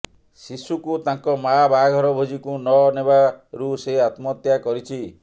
ଶିଶୁକୁ ତାଙ୍କ ମା ବାହାଘର ଭୋଜିକୁ ନ ନେବାରୁ ସେ ଆତ୍ମହତ୍ୟା କରିଛି